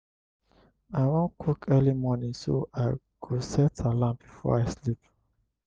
i wan cook early morning so i go set alarm before i sleep.